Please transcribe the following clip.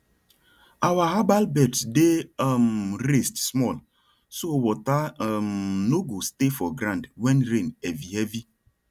our herbal beds dey um raised small so water um no go stay for ground when rain heavy heavy